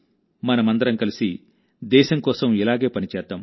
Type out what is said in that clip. మనమందరం కలిసి దేశం కోసం ఇలాగే పని చేద్దాం